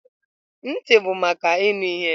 Ntị bụ maka ịnụ ihe.